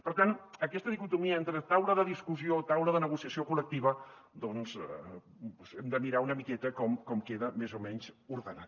per tant aquesta dicotomia entre taula de discussió taula de negociació col·lectiva doncs hem de mirar una miqueta com queda més o menys ordenat